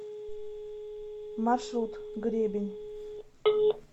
маршрут гребень